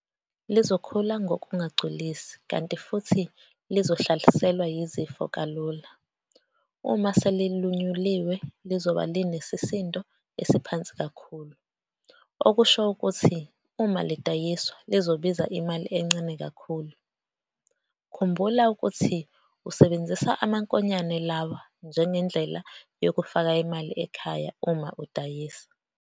Lizokhula ngokungagculisi kanti futhi lizohlaselwa yizifo kalula. Uma selilunyuliwe lizobe linesisindo esiphansi kakhulu, okusho ukuthi uma lidayiswa lizobiza imali encane kakhulu, khumbula ukuthi usebenzisa amankonyane lawa njengendlela yokufaka imali ekhaya uma uwadayisa.